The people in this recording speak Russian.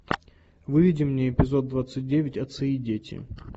выведи мне эпизод двадцать девять отцы и дети